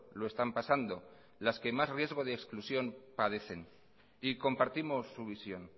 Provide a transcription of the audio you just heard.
lo están pasando las que más riesgo de exclusión padecen y compartimos su visión